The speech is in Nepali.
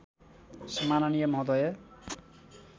सम्माननीय महोदय